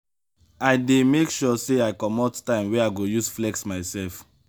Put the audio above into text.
i dey make sure sey i comot time wey i go use flex mysef.